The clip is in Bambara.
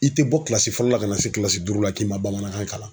I tɛ bɔ fɔlɔ la ka na se duuru la k'i ma bamanankan kalan.